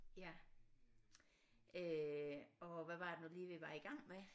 Ja øh og hvad var det nu lige vi var i gang med